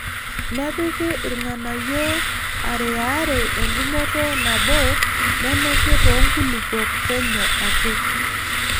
Nepiki irng'anayio aariaare engumoto nabo nenuki too nkulupuok penyo ake.